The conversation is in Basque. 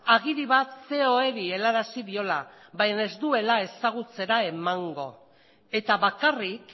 agiri bat coeeri helarazi diola baina ez duela ezagutzera emango eta bakarrik